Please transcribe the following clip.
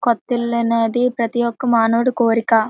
కొత్తిల్లు అనేది ప్రతి మానవుడి కోరిక.